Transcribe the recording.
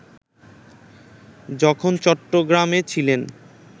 যখন চট্টগ্রামে ছিলেন